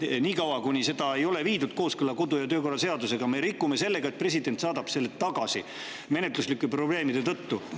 Nii kaua, kuni seda ei ole viidud kooskõlla kodu- ja töökorra seadusega, me sellega, et president saadab selle tagasi menetluslike probleemide tõttu.